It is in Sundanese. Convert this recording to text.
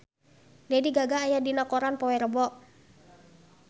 Lady Gaga aya dina koran poe Rebo